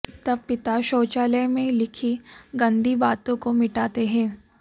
तब पिता शाैचालय में लिखी गंदी बाताें काे मिटाते हैं